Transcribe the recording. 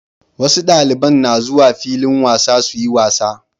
Wasu daliban na zuwa filin wasa suyi wasa